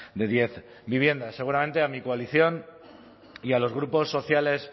de diez viviendas seguramente a mi coalición y a los grupos sociales